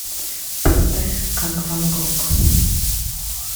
поставь как ван гог